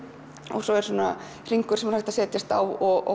og svo er hringur sem hægt er að setjast á og